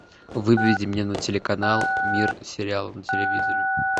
выведи мне на телеканал мир сериала на телевизоре